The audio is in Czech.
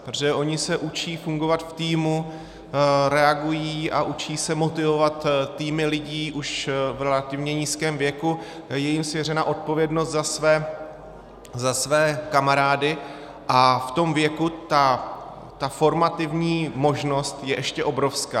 Protože oni se učí fungovat v týmu, reagují a učí se motivovat týmy lidí už v relativně nízkém věku, je jim svěřena odpovědnost za své kamarády a v tom věku ta formativní možnost je ještě obrovská.